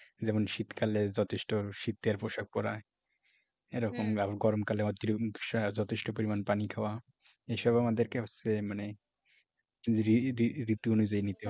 যেমন শীতকালে যথেষ্ট শীতের পোশাক পরা এরকম আর গরম কালে যথেষ্ট পরিমাণ পানি খাওয়া এসব আমাদেরকে হচ্ছে মানে রি রি ঋতু অনুযায়ী নিতে হবে।